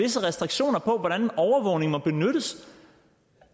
visse restriktioner på hvordan overvågning må benyttes